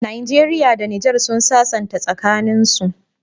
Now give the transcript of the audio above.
Nigeria da niger sun sassanta tsakanin su